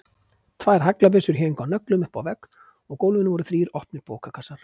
Tvær haglabyssur héngu á nöglum uppi á vegg og á gólfinu voru þrír opnir bókakassar.